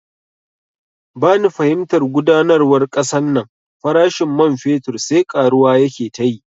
Bani fahimtar gudanarwar kasan nan, farashin man fetur sai karuwa yake tayi